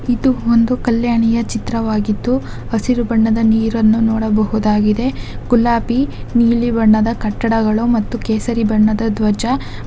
ಇದೊಂದು ಕಲ್ಯಾಣಿಯ ಚಿತ್ರವಾಗಿದ್ದು ಹಸಿರು ಬಣ್ಣದ ನೀರನ್ನ ನೋಡಬಹುದಾಗಿದೆ ಗುಲಾಬಿ ನೀಲಿ ಬಣ್ಣದ ಕಟ್ಟಡಗಳು ಮತ್ತು ಕೇಸರಿ ಬಣ್ಣದ ಧ್ವಜ.